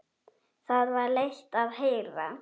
Það var leitt að heyra.